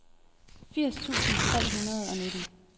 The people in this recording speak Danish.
firs tusind tre hundrede og nitten